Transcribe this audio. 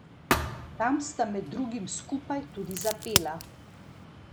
Tam sta med drugim skupaj tudi zapela.